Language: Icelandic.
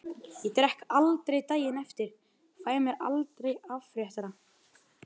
Ég drekk aldrei daginn eftir, fæ mér aldrei afréttara.